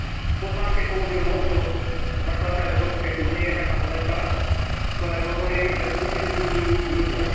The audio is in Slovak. V pozvánke použil motto zakladateľa Európskej únie Jeana Monneta, ktoré hovorí, že Úniu budujú ľudia.